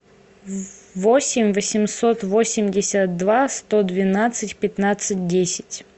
восемь восемьсот восемьдесят два сто двенадцать пятнадцать десять